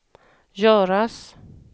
göras